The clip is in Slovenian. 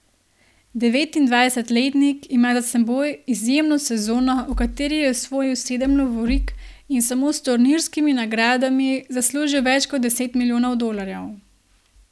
Devetindvajsetletnik ima za seboj izjemno sezono, v kateri je osvojil sedem lovorik in samo s turnirskimi nagradami zaslužil več kot deset milijonov dolarjev.